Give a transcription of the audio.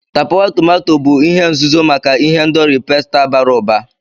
Tapawa tomato bụ ihe nzuzo maka ihendori pasta bara ụba.